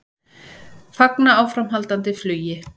Fagna áframhaldandi flugi